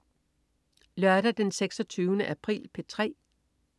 Lørdag den 26. april - P3: